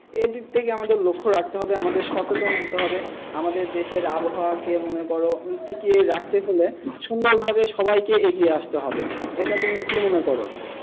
এই দিক থেকে আমাদেরকে লক্ষ্য রাখতে হবে আমাদেরকে সচেতন হতে হবে, আমাদের দেশের আবহাওয়া কে মনে করো টিকিয়ে রাখতে হলে সুন্দরভাবে সবাইকে এগিয়ে আসতে হবে এটা তুমি কী মনে করো?